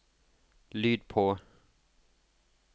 lyd på